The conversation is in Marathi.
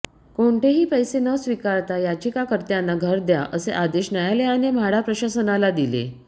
कोणतेही पैसे न स्वीकारता याचिकाकर्त्यांना घर द्या असे आदेश न्यायालयाने म्हाडा प्रशासनाला दिले